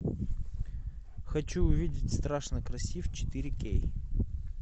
хочу увидеть страшно красив четыре кей